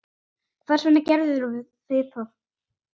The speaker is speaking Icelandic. Hvers vegna gerðuð þið það?